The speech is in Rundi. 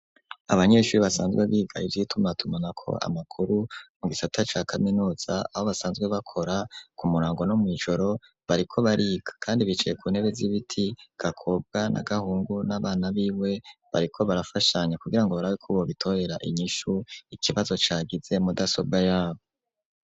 Abanyeshuri basanzwe biga ivyitumatumana ko amakuru,, mu gisata ca kaminuza abo basanzwe bakora ku murango no mw' ijoro bariko bariga ,kandi bicaye ku ntebe z'ibiti gakobwa n'agahungu n'abana b'iwe bariko barafashanya kugira ngo barabeko bo bitorera inyishu ikibazo cagize mudasobwa yabo.